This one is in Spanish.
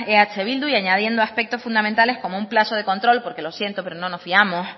eh bildu y añadiendo aspectos fundamentales como un plazo de control porque lo siento pero no nos fiamos